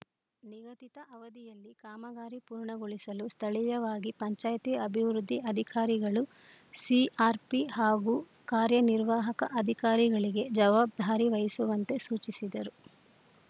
ನಿಗದಿತ ಅವಧಿಯಲ್ಲಿ ಕಾಮಗಾರಿ ಪೂರ್ಣಗೊಳಿಸಲು ಸ್ಥಳೀಯವಾಗಿ ಪಂಚಾಯ್ತಿ ಅಭಿವೃದ್ಧಿ ಅಧಿಕಾರಿಗಳು ಸಿಆರ್‌ಪಿ ಹಾಗೂ ಕಾರ್ಯನಿರ್ವಾಹಕ ಅಧಿಕಾರಿಗಳಿಗೆ ಜವಾಬ್ದಾರಿ ವಹಿಸುವಂತೆ ಸೂಚಿಸಿದರು